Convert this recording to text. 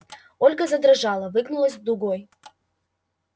ольга задрожала выгнулась дугой